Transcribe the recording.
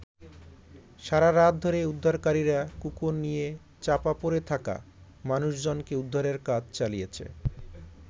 সারা রাত ধরে উদ্ধারকারীরা কুকুর নিয়ে চাপা পড়ে থাকা মানুষজনকে উদ্ধারের কাজ চালিয়েছে।